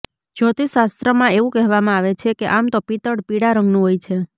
જ્યોતિષશાસ્ત્રમાં એવું કહેવામાં આવે છે કે આમ તો પિત્તળ પીળા રંગનું હોય છે